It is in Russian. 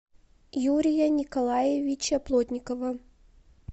юрия николаевича плотникова